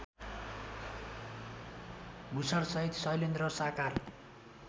भूषणसहित शैलेन्द्र साकार